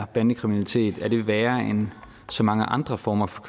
bandekriminalitet er værre end så mange andre former for